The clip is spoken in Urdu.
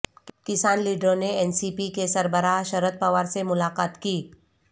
کسان لیڈروں نے این سی پی کے سربراہ شرد پوار سے ملاقات کی